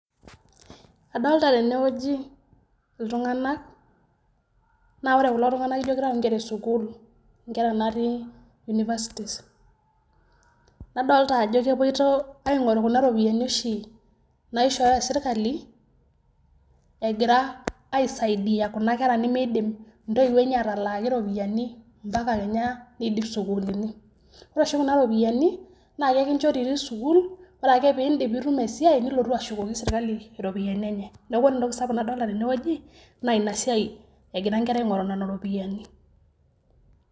Adolita teene wueji iltung'anak naa oore kulo tung'anak iijo keitau inkera e sukuul, inkera natii universities nadolita aajo kepoito aing'oru kuuna ropiyiani ooshi naishooyo serkali agira aisaidia kuna kera nemeidim intoiwuo eenye atalaaki iropiyiani mbaka kenya neidip isukuulini. Oore oshi kuna ropiyiani naa ekinchori itii sukuul, oore aake peyie iidip nitum esiai nilotu ashukoki inkera iropiyiani eenye. Niaku oore entoki sapuk nadolta teene wueji naa iina siai egira inkera aing'oru nena ropiyiani.